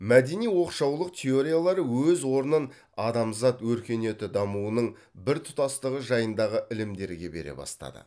мәдени оқшаулық теориялары өз орнын адамзат өркениеті дамуының біртұтастығы жайындағы ілімдерге бере бастады